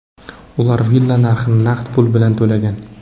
Ular villa narxini naqd pul bilan to‘lagan.